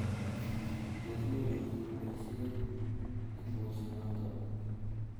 tos nyoru biik boisiet eng' bolset noto?